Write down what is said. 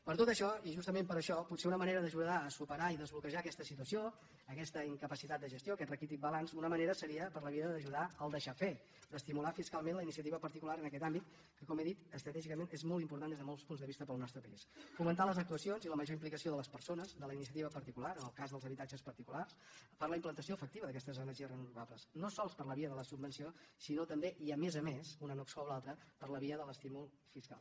per tot això i justament per això potser una manera d’ajudar a superar i desbloquejar aquesta situació aques·ta incapacitat de gestió aquest raquític balanç una ma·nera seria per la via d’ajudar el deixar fer d’estimular fiscalment la iniciativa particular en aquest àmbit que com he dit estratègicament és molt important des de molts punts de vista per al nostre país fomentar les ac·tuacions i la major implicació de les persones de la iniciativa particular en el cas dels habitatges particulars per a la implantació efectiva d’aquestes energies reno·vables no sols per la via de la subvenció sinó també i a més a més una no exclou l’altra per la via de l’estímul fiscal